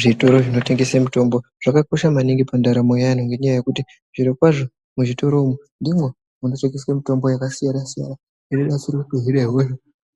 Zvitoro zvinotengese mitombo zvakakosha maningi muntaramo yaantu ngenyaya yekuti zvirokwazvo muzvitoro umwu ndimwo munotengeswe mitombo yakasiyana siyana inoshandiswe kuhine hosha.